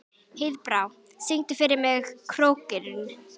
Heiðbrá, syngdu fyrir mig „Krókurinn“.